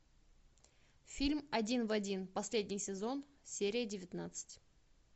фильм один в один последний сезон серия девятнадцать